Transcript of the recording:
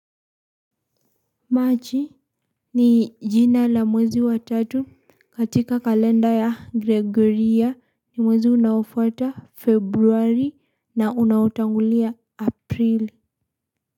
Machi ni jina la mwezi wa tatu katika kalenda ya gregoria ni mwezi unaofuata februari na unaotangulia aprili.